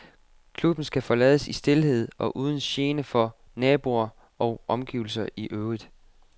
Klubben skal forlades i stilhed og uden gene for naboer og omgivelser i øvrigt.